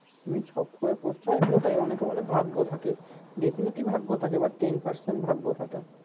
এমনি শখ করে পড়তে হয় ওটাই অনেকে বলে ভাগ্য থাকে definitely ভাগ্য থাকে but ten percent ভাগ্য থাকে